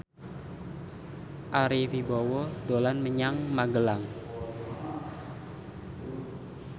Ari Wibowo dolan menyang Magelang